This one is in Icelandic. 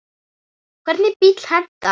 Hvernig bíll hentar?